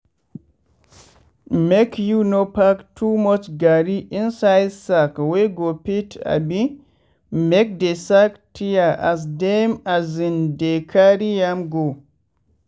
make you no pack too much garri inside sack wey go fit abimake de sack tear as dem as in dey carry am go.